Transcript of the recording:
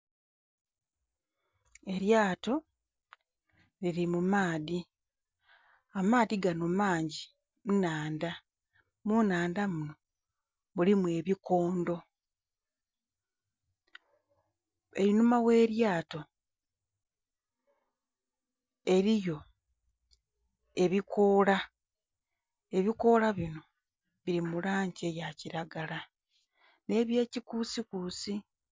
Elyaato lili mu maadhi, amaadhi ganho mangi nnhandha munhandha muno mulimu ebikondho, einhuma ghe lyaato eliyo ebikola ebikoola bino bili mulangi eya kilagala nhe ye kikusikusi.